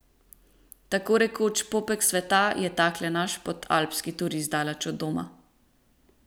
Tako rekoč popek sveta je takle naš podalpski turist daleč od doma.